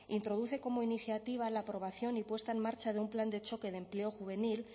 introduce como iniciativa la aprobación y puesta en marcha de un plan de choque de empleo juvenil